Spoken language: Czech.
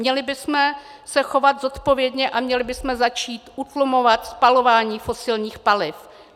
Měli bychom se chovat zodpovědně a měli bychom začít utlumovat spalování fosilních paliv.